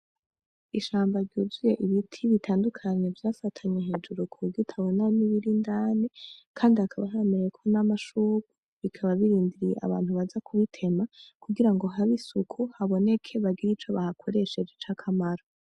Ishamba ryuzuye Ibiti bitandukanye vya fatanye hejuru kuburyo utabona n'ibiri indani Kandi hakaba hemerewe nam'amashurwe bikaba birindiye abantu baza kubitema kugirango hab'isuku ,haboneke bagire Ico bahakoresheje cakamaro.